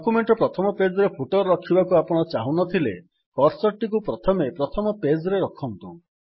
document ର ପ୍ରଥମ page ରେ ଫୁଟର୍ ରଖିବାକୁ ଆପଣ ଚାହୁଁନଥିଲେ କର୍ସର୍ ଟିକୁ ପ୍ରଥମେ ପ୍ରଥମ ପେଜ୍ ରେ ରଖନ୍ତୁ